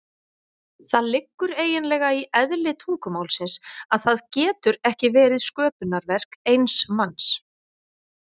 Það liggur eiginlega í eðli tungumálsins að það getur ekki verið sköpunarverk eins manns.